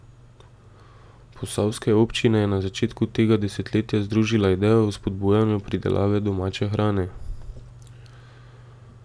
Posavske občine je na začetku tega desetletja združila ideja o spodbujanju pridelave domače hrane.